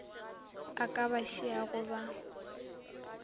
a ka ba šiago ba